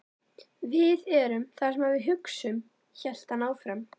Við erum það sem við hugsum- hélt hann áfram.